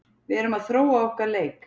Við erum að þróa okkar leik.